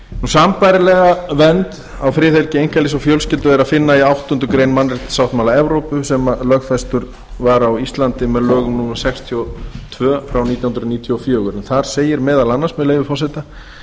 sambærilega vernd á friðhelgi einkalífs og fjölskyldu er að finna í áttundu grein mannréttindasáttmála evrópu sem lögfestur var á íslandi með lögum númer sextíu og tvö nítján hundruð níutíu og fjögur þar segir meðal annars með leyfi forseta